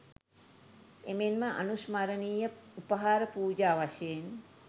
එමෙන්ම අනුස්මරණීය උපහාර පූජා වශයෙන්